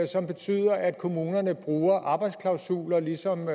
som betyder at kommunerne bruger arbejdsklausuler ligesom